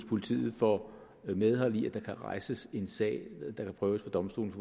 politiet får medhold i at der kan rejses en sag der kan prøves ved domstolene